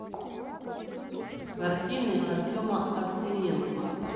картины артема аксененко